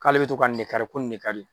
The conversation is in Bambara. K'ale bɛ to ka nin de kari ko nin de ka.